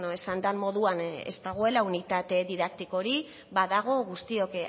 esan den moduan ez dagoela unitate didaktikorik badago guztiok